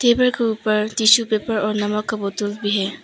Table के ऊपर tissue paper और नमक का बोतल भी है।